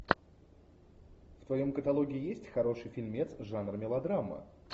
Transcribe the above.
в твоем каталоге есть хороший фильмец жанр мелодрама